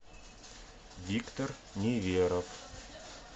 виктор неверов